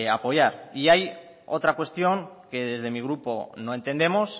apoyar y hay otra cuestión que desde mi grupo no entendemos